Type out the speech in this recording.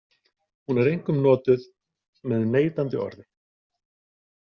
Hún er einkum notuð með neitandi orði.